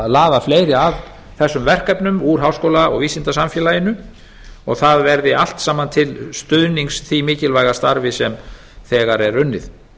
að laða fleiri að þessum verkefnum úr háskóla og vísindasamfélaginu og það verði allt saman til stuðnings því mikilvæga starfi sem þegar er unnið